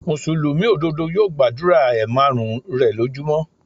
Mùsùlùmí òdodo yóò gbàdúrà ẹ márùn-ún rè lójú mọ́.